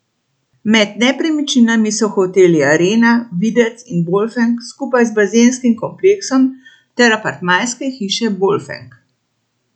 Med nepremičninami so hoteli Arena, Videc in Bolfenk skupaj z bazenskim kompleksom ter apartmajske hiše Bolfenk.